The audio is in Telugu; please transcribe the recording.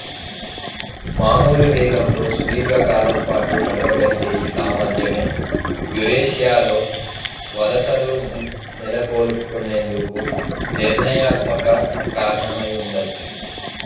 మామూలు వేగంతో సుదీర్ఘ కాలం పాటు నడవగలిగే ఈ సామర్థ్యమే యురేషియాలో వలసలు నెలకొల్పుకునేందుకు నిర్ణయాత్మక కారణమై ఉండవచ్చు